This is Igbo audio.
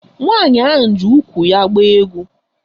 Nwaanyị ahụ ji úkwù ya agba egwu.